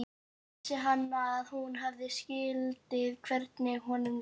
Þá vissi hann að hún skildi hvernig honum leið.